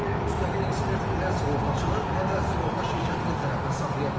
Çünki müstəqil ekspert nə sığortaçının, nə də sığorta şirkətinin tərəfini saxlaya bilər.